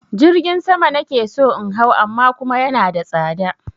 Jirgin sama na ke so in hau amma kuma yana da tsada.